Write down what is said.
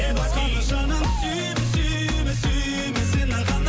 басқаны жаным сүйме сүйме сүйме сені ғана